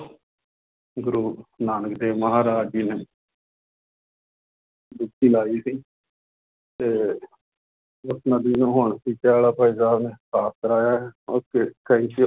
ਗੁਰੂ ਨਾਨਕ ਦੇਵ ਮਹਾਰਾਜ ਜੀ ਨੇ ਡੁਬਕੀ ਲਾਈ ਸੀ ਤੇ ਸਾਫ਼ ਕਰਵਾਇਆ ਹੈ okay thank you